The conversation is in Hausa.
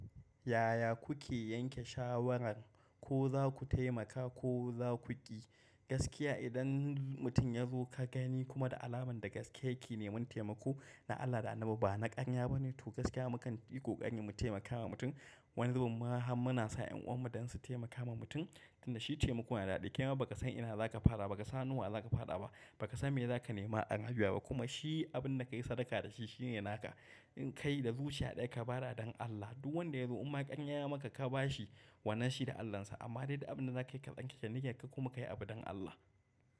Yaya kuke yanke shawaran ko za ku taimaka ko za ku ƙi? Gaskiya idan mutum yazo ka gani kuma da alamun da gaske yake neman temako dan Allah dan Annabi ba na karya ba to gaskiya mukan yi kokari mu temaka ma mutum wani zubumma har muna sa ƴan'uwan mu don su taimaka wa mutum. Inda shi taimako yana daɗi, kaima ba ka san ina da za ka fada ba ka san hannun wa za ka faɗa ba. Ba ka san me za ka nema a nan biya ba kuma shi abin da ka yi sadaka da shi shine naka. In kai da zuciya ɗaya ka bada don Allah, duk wanda ya zo umma ƙarya ya maka ka ba shi, wannan shi da Allansa. Amma dai da abin da zaka kai ka tsarkake niyyar ka kuma ka yi abu don Allah.